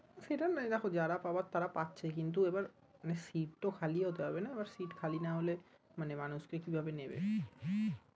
সেটা না দেখো যারা পাবার তারা পাচ্ছেই কিন্তু এবার আহ সিট্ তো খালিও হতে হবে না, সিট্ খালি না হলে মানে মানুষ কে কি ভাবে নেবে